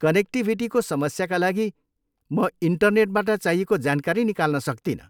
कनेक्टिभिटीको समस्याका लागि म इन्टनेटबाट चाहिएको जानकारी निकाल्न सक्तिनँ।